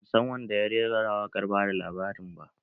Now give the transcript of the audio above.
Ban san wanda ya rera waƙar bada labarin ba.